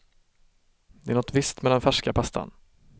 Det är något visst med den färska pastan.